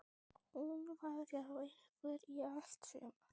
Hún var hjá ykkur í allt sumar.